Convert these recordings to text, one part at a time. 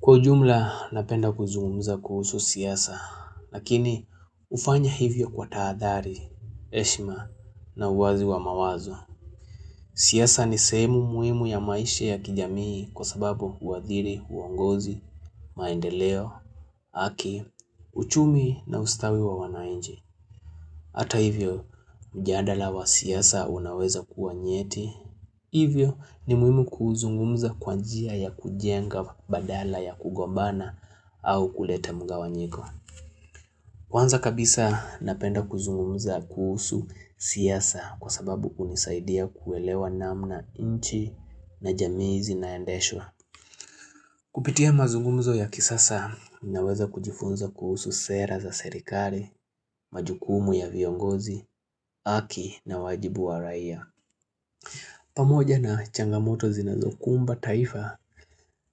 Kwa ujumla napenda kuzungumza kuhusu siasa, lakini hufanya hivyo kwa tahadhari, heshima na uwazi wa mawazo. Siasa ni sehemu muhimu ya maisha ya kijamii kwa sababu huadhiri, uongozi, maendeleo, haki, uchumi na ustawi wa wananchii. Hata hivyo mjadala wa siasa unaweza kuwa nyeti. Hivyo ni muhimu kuuzungumza kwa njia ya kujenga badala ya kugombana au kuleta mgawanyiko. Kwanza kabisa napenda kuzungumza kuhusu siasa kwa sababu hunisaidia kuelewa namna nchi na jamii zinaendeshwa. Kupitia mazungumzo ya kisasa naweza kujifunza kuhusu sera za serikali, majukumu ya viongozi, haki na wajibu wa raia. Pamoja na changamoto zinazokumba taifa,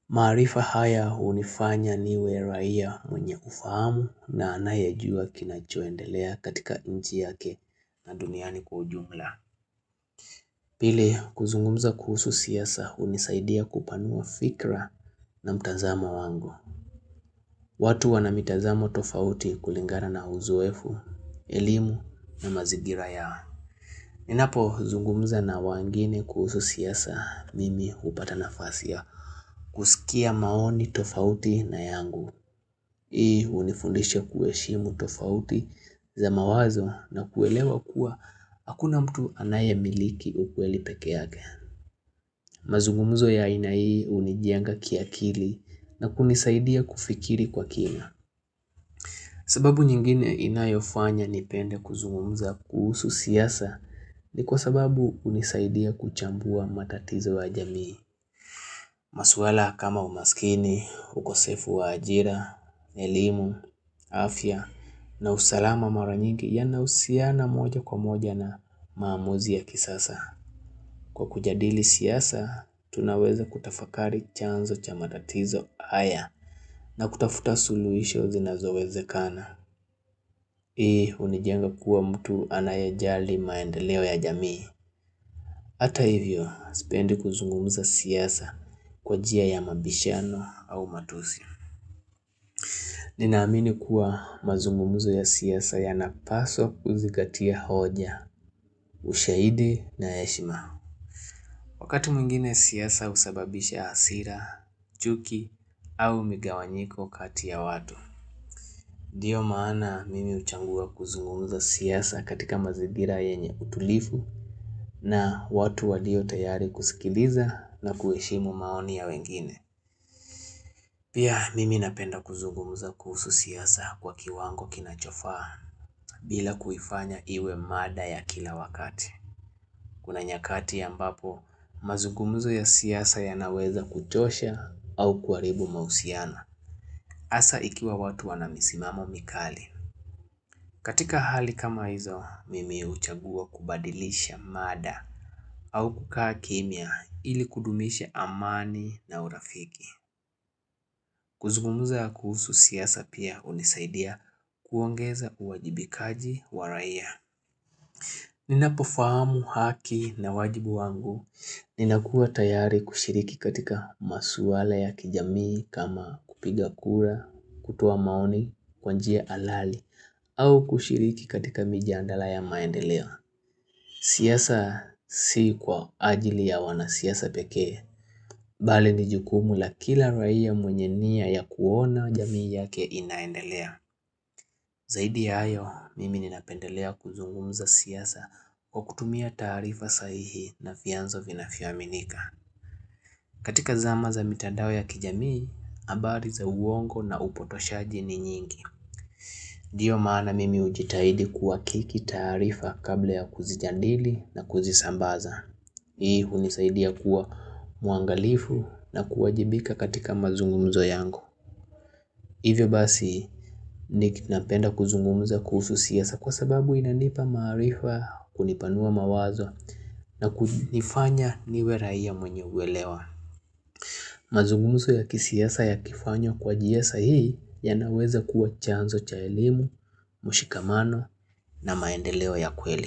maarifa haya hunifanya niwe raia mwenye ufahamu na anayejua kinachoendelea katika nchi yake na duniani kwa ujumla. Pili, kuzungumza kuhusu siasa hunisaidia kupanua fikra na mtazamo wangu. Watu wana mitazamo tofauti kulingana na uzoefu, elimu na mazingira yao. Ninapo zungumza na wengine kuhusu siasa mimi hupata nafasi ya kusikia maoni tofauti na yangu. Hii unifundisha kuheshimu tofauti za mawazo na kuelewa kuwa akuna mtu anaye miliki ukweli peke yake. Mazungumzo ya aina hii hunijenga kiakili na kunisaidia kufikiri kwa kina. Sababu nyingine inayofanya nipende kuzungumza kuhusu siasa ni kwa sababu huwa inanisaidia kuchambua matatizo ya jamii maswala kama umaskini, ukosefu wa ajira, elimu, afya na usalama mara nyigi yana husiana moja kwa moja na maamuzi ya kisasa Kwa kujadili siasa, tunaweza kutafakari chanzo cha matatizo haya na kutafuta suluhisho zinazowezekana Hii hunijenga kuwa mtu anayejali maendeleo ya jamii Hata hivyo, sipendi kuzungumza siasa kwa njia ya mabishano au matusi Nina amini kuwa mazungumzo ya siasa yanapaswa kuzingatia hoja, ushahidi na heshima Wakati mwingine siasa husababisha hasira, chuki au migawanyiko kati ya watu ndio maana mimi huchagua kuzungumza siasa katika mazingira yenye utulivu na watu walio tayari kusikiliza na kuheshimu maoni ya wengine. Pia mimi napenda kuzungumza kuhusu siasa kwa kiwango kinachofaa bila kuifanya iwe mada ya kila wakati. Kuna nyakati ambapo mazungumzo ya siasa yanaweza kuchosha au kuharibu mahusiano. Hasa ikiwa watu wana misimamo mikali. Katika hali kama hizo, mimi huchagua kubadilisha mada au kukaa kimya ili kudumisha amani na urafiki. Kuzungumza kuhusu siasa pia hunisaidia kuongeza uwajibikaji wa raia. Ninapofahamu haki na wajibu wangu. Ninakuwa tayari kushiriki katika maswala ya kijamii kama kupiga kura, kutoa maoni, kwa njia halali. Au kushiriki katika mijadala ya maendeleo siasa si kwa ajili ya wanasiasa pekee Bali ni jukumu la kila raia mwenye nia ya kuona jamii yake inaendelea Zaidi ya hayo, mimi ninapendelea kuzungumza siasa Kwa kutumia taarifa sahihi na vianzo vinavyoaminika katika zama za mitandao ya kijamii, habari za uongo na upotoshaji ni nyingi ndio maana mimi hujitahidi kuhakiki taarifa kabla ya kuzijadili na kuzisambaza Hii hunisaidia kuwa mwangalifu na kuwajibika katika mazungumzo yangu Hivyo basi napenda kuzungumza kuhusu siasa kwa sababu inanipa maarifa kunipanua mawazo na kunifanya niwe raia mwenye huelewa mazungumzo ya kisiasa yakifanywa kwa njia sahihi yanaweza kuwa chanzo cha elimu, mshikamano na maendeleo ya kweli.